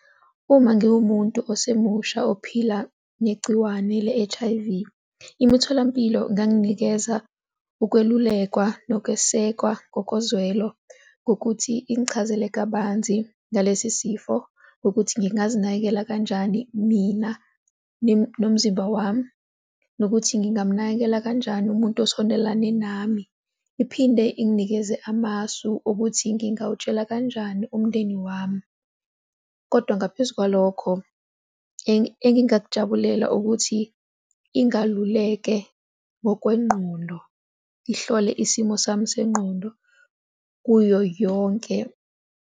Uma ngiwumuntu osemusha ophila negciwane le-H_I_V, imitholampilo inganginikeza ukwelulekwa nokwesekwa ngokozwelo ngokuthi ingichazele kabanzi ngalesi sifo nokuthi ngizinakekela kanjani mina nomzimba wami, nokuthi ngingamnakekela kanjani umuntu osondelane nami. Iphinde inikeze amasu ukuthi ngingawutshala kanjani umndeni wami. Kodwa ngaphezu kwalokho engingakujabulela ukuthi ingaluleke ngokwengqondo, ihlole isimo sami sengqondo kuyo yonke.